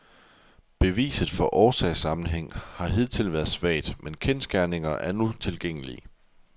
Beviset for årsagssammenhæng har hidtil været svagt, men kendsgerninger er nu tilgængelige.